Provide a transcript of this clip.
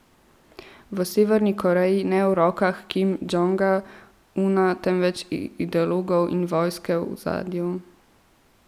V Severni Koreji ne v rokah Kim Džong Una, temveč ideologov in vojske v ozadju.